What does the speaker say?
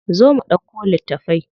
Zo mu ɗauko littafai.